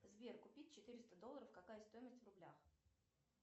сбер купить четыреста долларов какая стоимость в рублях